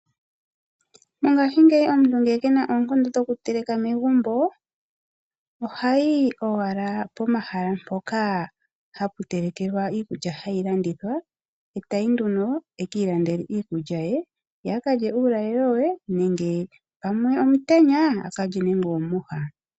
Mongaashingeyi omuntu ngele kena oonkondo dho ku teleka megumbo, ohayi owaka po mahala mpoka hapu telekwa iikulya hayi landithwa, etayi nduno ekiilandeke iikulya ye, ye a kalye uulalelo we nenge pamwe omutenya,a kalye nande omwiha.